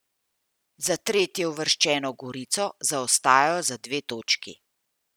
Za tretjeuvrščeno Gorico zaostajajo za dve točki.